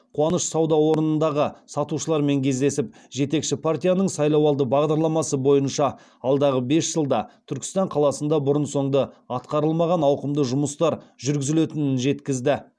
қуаныш сауда орнындағы сатушылармен кездесіп жетекші партияның сайлауалды бағдарламасы бойынша алдағы бес жылда түркістан қаласында бұрын соңды атқарылмаған ауқымды жұмыстар жүргізілетінін жеткізді